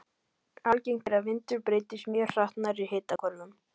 Algengt er að vindur breytist mjög hratt nærri hitahvörfunum.